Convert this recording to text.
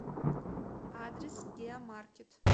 адрес геомаркет